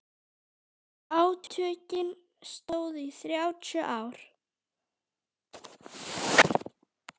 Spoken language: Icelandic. Átökin stóðu í þrjátíu ár.